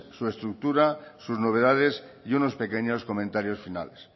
su estructura sus novedades y unos pequeños comentarios finales